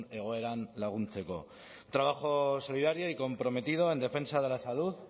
egoeran laguntzeko trabajo solidario y comprometido en defensa de la salud